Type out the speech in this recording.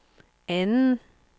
anden